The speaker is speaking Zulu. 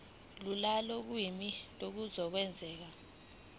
lula kolimi kuzokwenzeka